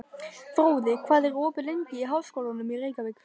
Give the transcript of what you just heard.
Fróði, hvað er opið lengi í Háskólanum í Reykjavík?